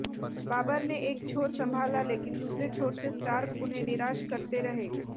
बाबर ने एक छोर संभाला लेकिन दूसरे छोर से स्टार्क उन्हें निराश करते रहे